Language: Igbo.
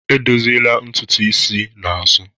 E dọziela ntutu isi n'azụ.